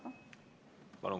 Palun!